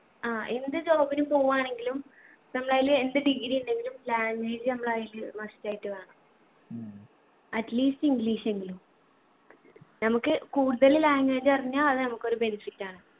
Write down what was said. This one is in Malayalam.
ആ എന്ത് job നു പോവ്വാണെങ്കിലും നമ്മളയ്യില് എന്ത് degree ഉണ്ടെങ്കിലും language നമ്മളെ കയ്യില് must ആയിട്ട് വേണം at least english എങ്കിലും നമുക്ക് കൂടുതല് language അറിഞ്ഞാ അത് നമുക്കൊരു benefit ആണ്